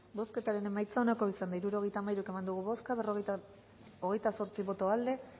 bozketaren emaitza onako izan da hirurogeita hamairu eman dugu bozka hogeita zortzi boto aldekoa